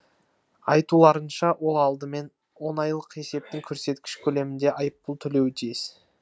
айтуларынша ол алдымен он айлық есептік көрсеткіш көлемінде айыппұл төлеуі тиіс